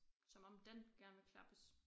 Som om den gerne vil klappes